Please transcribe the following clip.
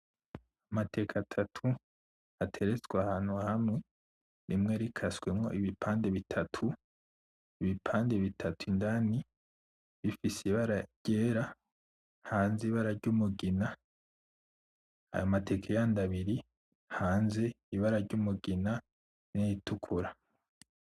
Amateke atatu, ateretswe ahantu hamwe, rimwe rikasemwo ibipande bitatu, ibipande bitatu indani bifise ibara ryera hanze ibara ry'umugina. Ayo mateke yandi abiri hanze ibara ry'umugina n'iritukura.